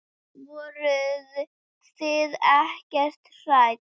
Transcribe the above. Voruð þið ekkert hrædd?